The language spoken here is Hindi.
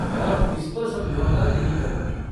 और इस पर समझौता नहीं करूँगी।